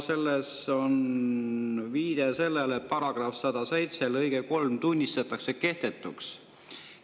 Selles on viide sellele, et § 107 lõige 3 tunnistatakse kehtetuks.